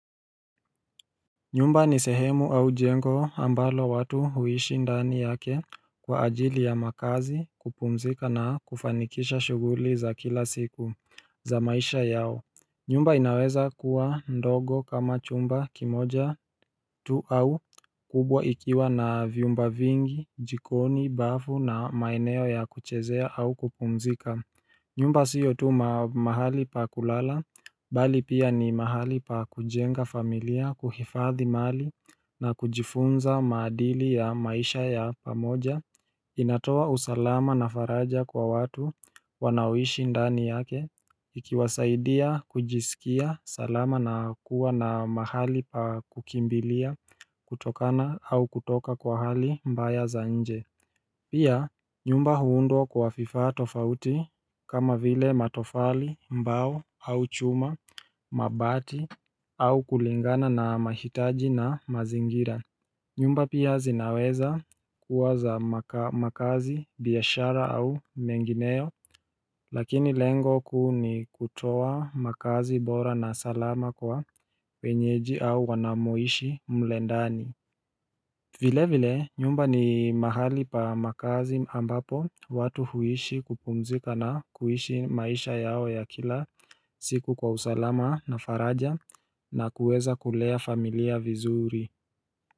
Nyumba ni sehemu au jengo ambalo watu huishi ndani yake kwa ajili ya makaazi kupumzika na kufanikisha shughuli za kila siku za maisha yao nyumba inaweza kuwa ndogo kama chumba kimoja tu au kubwa ikiwa na vyumba vingi, jikoni, bafu na maeneo ya kuchezea au kupumzika nyumba siyo tu mahali pa kulala, bali pia ni mahali pa kujenga familia, kuhifadhi mali na kujifunza maadili ya maisha ya pamoja inatoa usalama na faraja kwa watu wanaoishi ndani yake ikiwasaidia kujisikia salama na kuwa na mahali pa kukimbilia kutokana au kutoka kwa hali mbaya za nje Pia nyumba huundwa kwa vifaa tofauti kama vile matofali mbao au chuma mabati au kulingana na mahitaji na mazingira nyumba pia zinaweza kuwa za makaazi biashara au mengineyo lakini lengo kuu ni kutoa makaazi bora na salama kwa wenyeji au wanamoishi mlendani vile vile nyumba ni mahali pa makaazi ambapo watu huishi kupumzika na kuishi maisha yao ya kila siku kwa usalama na faraja na kuweza kulea familia vizuri.